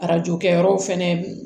Arajo kɛyɔrɔw fɛnɛ